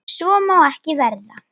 Svo má ekki verða.